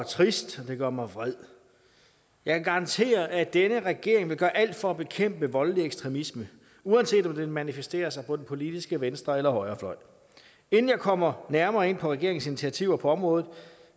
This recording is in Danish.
trist og det gør mig vred jeg kan garantere at denne regering vil gøre alt for at bekæmpe voldelig ekstremisme uanset om den manifesterer sig på den politiske venstre eller højrefløj inden jeg kommer nærmere ind på regeringens initiativer på området